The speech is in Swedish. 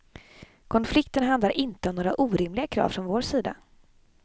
Konflikten handlar inte om några orimliga krav från vår sida.